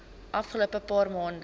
afgelope paar maande